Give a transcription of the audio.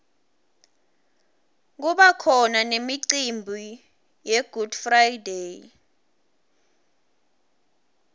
kubakhona nemicimbi yegood friday